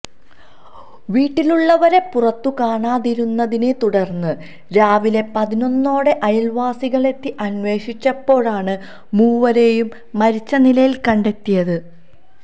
വീട്ടിലുള്ളവരെ പുറത്തു കാണാതിരുന്നതിനെ തുടർന്ന് രാവിലെ പതിനൊന്നോടെ അയൽവാസികളെത്തി അന്വേഷിച്ചപ്പോഴാണ് മൂവരെയും മരിച്ച നിലയിൽ കണ്ടെത്തിയത്